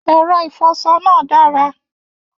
Ẹrọ ifọṣọ naa dára.